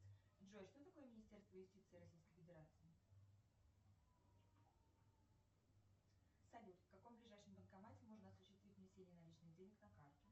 джой что такое министерство юстиции российской федерации салют в каком ближайшем банкомате можно осуществить внесение наличных денег на карту